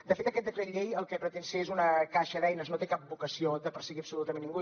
de fet aquest decret llei el que pretén ser és una caixa d’eines no té cap vocació de perseguir absolutament ningú